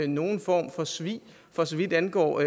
nogen form for svig for så vidt angår